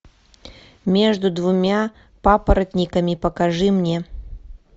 между двумя папоротниками покажи мне